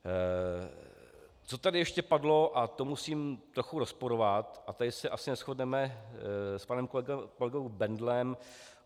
Co tady ještě padlo a co musím trochu rozporovat, a tady se asi neshodneme s panem kolegou Bendlem.